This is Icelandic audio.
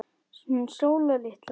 Hún Sóla litla?